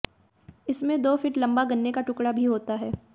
इसमें दो फीट लंबा गन्ने का टुकड़ा भी होता है